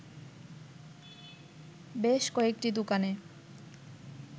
বেশ কয়েকটি দোকানে